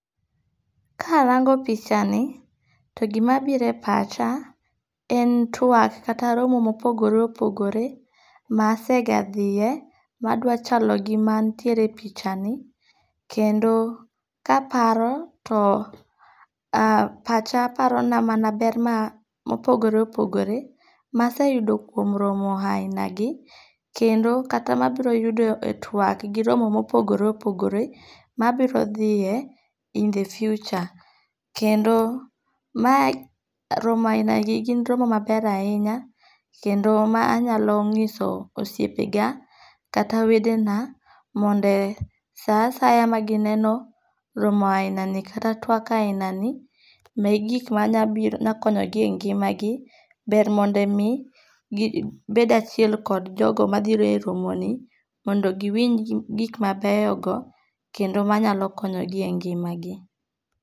Karango pichani to gimabiro e pacha, en twak kata romo ma opogore opogore, masega thie ma dwachalo gi mantiere e pichani, kendo kaparo to a pacha parona mana ber ma opogore opogore masseyudo kuom romo ahinagi kendo kata ma abiro yudo e twak gi romo ma opogore opogore, mabirothie in the future, kendo mae romo ahinagi gin romo maber ahinya kendo mae anyalo nyiso osiepega kata wedena mondo e saasaya magineno romo ahinani kata twak ahinagi ne gik manyalo konyogi e ngimagi ber mondo mi gibed achiel kod jogo mabiro e romoni mondo gi winj gik mabeyogo kendo manyalo konyogi e ngi'magi.